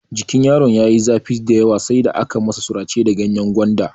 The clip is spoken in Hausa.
Jikin yaron ya yi zafi dayawa sai da aka masa sirace da ganyen gwanda.